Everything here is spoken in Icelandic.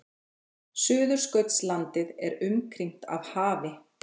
Suðurskautslandið er umkringt af hafi.